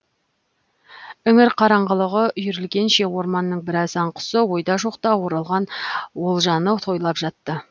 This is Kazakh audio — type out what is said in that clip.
іңір қараңғылығы үйірілгенше орманның біраз аң құсы ойда жоқта оралған олжаны тойлап жатты